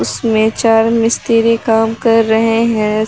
उसमें चार मिस्त्री काम कर रहे हैं।